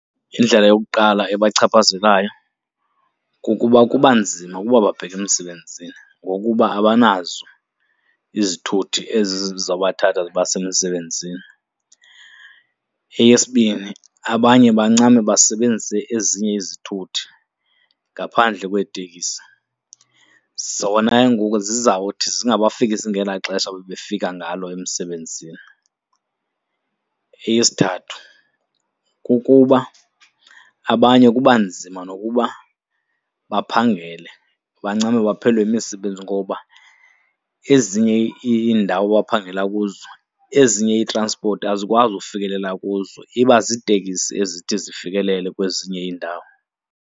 Indlela yokuqala ebachaphazelayo kukuba kuba nzima ukuba babheke emsebenzini ngokuba abanazo izithuthi ezi ziza kubathatha zibase emsebenzini. Eyesibini, abanye bancame basebenzise ezinye izithuthi ngaphandle kweetekisi. Zona ke ngoku zizawuthi zingabafikisi ngela xesha bebefika ngalo emsebenzini. Eyesithathu, kukuba abanye kuba nzima nokuba baphangele, bancame baphelelwe yimisebenzi ngoba ezinye iindawo abaphangela, kuzo ezinye ii-transport azikwazi ukufikelela kuzo iba ziitekisi ezithi zifikelele kwezinye iindawo.